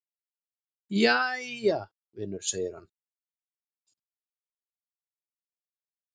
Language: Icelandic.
"""Jæja, vinur segir hann."""